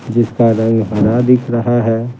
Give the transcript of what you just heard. जिसका रंग हरा दिख रहा है।